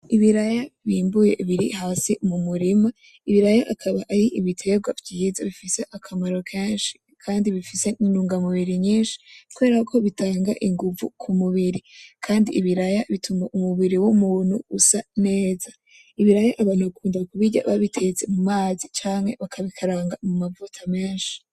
Ibiraya bimbuye biri hasi mumurima, ibiraya bikaba ari ibiterwa vyiza bifise akamaro kenshi kandi bifise intungamubiri nyinshi kubera ko bitanga inguvu kumubiri kandi ibiraya bituma umubiri w'umuntu usa neza, ibiraya abantu bakunda kubirya babitetse mumazi canke bakabikaranga mumavuta menshi.